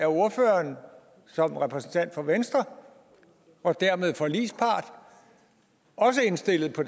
ordføreren som repræsentant for venstre og dermed forligspart også er indstillet på